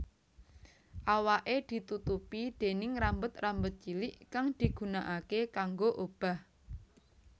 Awaké ditutupi déning rambut rambut cilik kang digunaake kanggo obah